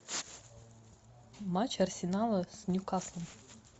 матч арсенала с ньюкаслом